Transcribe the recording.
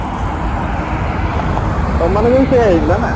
ତମମାନଙ୍କର ବି ସେଇଆ ହେଇଥିଲା ନା